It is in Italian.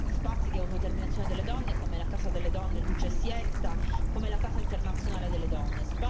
spazi di autodeterminazione delle donne, come la casa delle donne Lucha y Siesta, come la Casa internazionale delle donne.